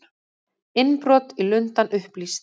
Innbrot í Lundann upplýst